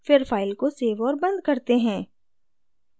फिर file को save और बंद करते हैं